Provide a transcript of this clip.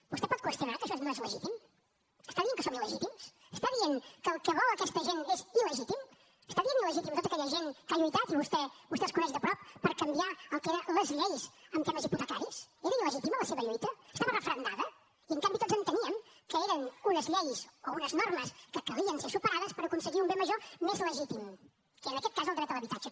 vostè pot qüestionar que això no és legítim està dient que som il·legítims està dient que el que vol aquesta gent és il·legítim està dient il·legítima a tota aquella gent que ha lluitat i vostè els coneix de prop per canviar el que eren les lleis en temes hipotecaris era il·legítima la seva lluita estava referendada i en canvi tots enteníem que eren unes lleis o unes normes que calia que se superessin per aconseguir un bé major més legítim que en aquest cas era el dret a l’habitatge